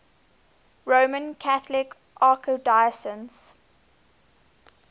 roman catholic archdiocese